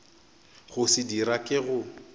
go se dira ke go